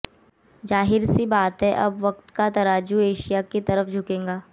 जाहिर सी बात अब वक्त का तराजू एशिया की तरफ झुकेगा